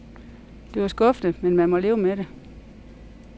Det var skuffende, men man må leve med det.